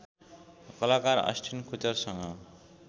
कलाकार अस्टिन कुचरसँग